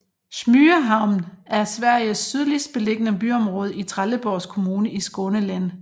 Smygehamn er Sveriges sydligst beliggende byområde i Trelleborgs kommune i Skåne län